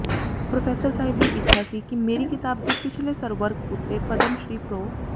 professor ਸਾਹਿਬ ਦੀ ਇੱਛਾ ਸੀ ਕਿ ਮੇਰੀ ਕਿਤਾਬ ਦੇ ਪਿਛਲੇ ਸਰਵਰਕ ਉਤੇ ਪਦਮ ਸ਼੍ਰੀ ਪ੍ਰੋ